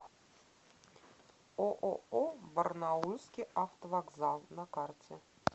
ооо барнаульский автовокзал на карте